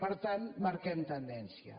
per tant marquem tendència